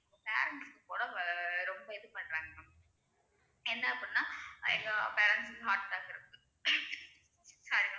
parents உடம்பை ரொம்ப இது பண்றாங்க ma'am என்ன அப்படின்னா எல்லா parents க்கும் heart attack இருக்கு sorry ma'am